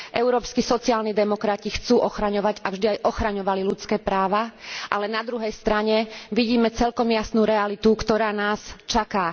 Európski sociálni demokrati chcú ochraňovať a vždy aj ochraňovali ľudské práva, ale na druhej strane vidíme celkom jasnú realitu, ktorá nás čaká.